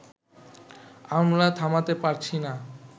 আমরা থামাতে পারছি না